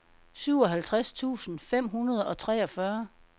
syvoghalvtreds tusind fem hundrede og treogfyrre